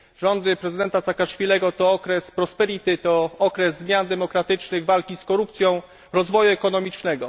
Rządy prezydenta Saakaszwilego to okres prosperity, to okres zmian demokratycznych, walki z korupcją, rozwoju ekonomicznego.